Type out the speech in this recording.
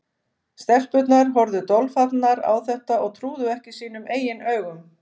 Stelpurnar horfðu dolfallnar á þetta og trúðu ekki sínum eigin augum.